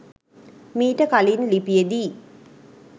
මීට කලින් ලිපියෙදී